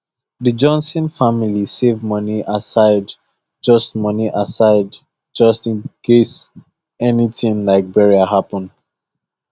the johnson family save money aside just money aside just in case anything like burial happen